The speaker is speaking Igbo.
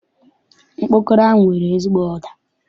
Ọkpọkọrọ ahụ nwere ezigbo ụda.